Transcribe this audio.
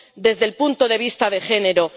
desde el punto de vista del género.